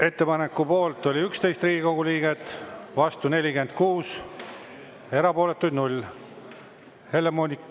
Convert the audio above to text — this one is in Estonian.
Ettepaneku poolt oli 11 Riigikogu liiget, vastu 46, erapooletuid 0.